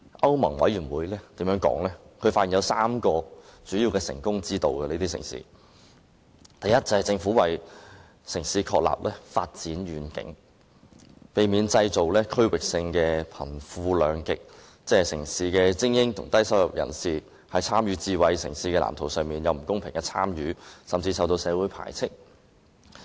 歐盟委員會更發現這些智慧城市有3項主要的成功要訣，第一，政府為城市確立發展遠景，避免製造區域性的貧富兩極，即城市的精英與低收入人士，在參與智慧城市的藍圖方面，出現不公平的參與程度，甚至有人備受社會排斥。